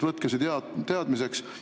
Võtke see teadmiseks.